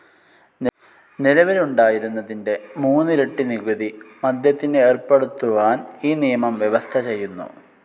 നിലവിലുണ്ടായിരുന്നതിന്റെ മൂന്നിരട്ടി നികുതി മദ്യത്തിന് ഏർപ്പെടുത്തുവാൻ ഈ നിയമം വ്യവസ്ഥ ചെയ്യുന്നു.